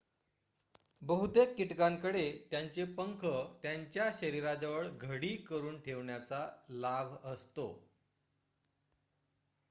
बहुतेक कीटकांकडे त्यांचे पंख त्यांच्या शरीराजवळ घडी करून ठेवण्याचा लाभ असतो